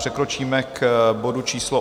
Přikročíme k bodu číslo